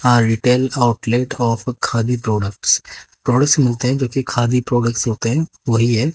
A retail outlet of khadi products products मिलते हैं जो कि खादी प्रोडक्ट्स होते हैं वही है।